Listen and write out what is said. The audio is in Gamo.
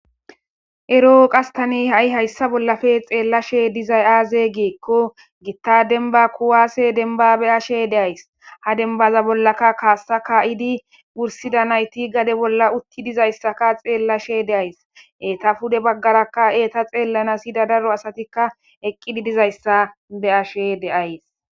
ero7o qastani ha7i hayssa bollafe xeellashe dizay aaze geekko gitta denba kuwaase denbabe ashe deays ha denbaza bollaka kaassa ka7idi wursida nayti gade bolla utti dizayssaka xeellashe deays eeta pude baggarakka eeta xeellanas hida daro asatikka eqqidi dizayssa be ashe deays